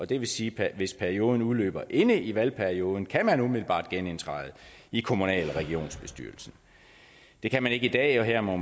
det vil sige at hvis perioden udløber inde i valgperioden kan man umiddelbart genindtræde i kommunal eller regionsbestyrelsen det kan man ikke i dag her må